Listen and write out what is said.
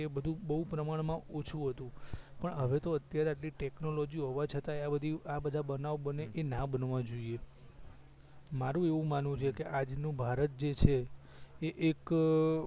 એ બધુ બવ પ્રમાણ માં ઓછું હતું પણ હવે તો અત્યારે ટેકનોલોજી હોવા છતાં આ બધી આ બધા બનાવ બને એ ના બનવા જોઈએ મારુ એવું માનવું છે કે આજ નું ભારત જએ છે એ એક અ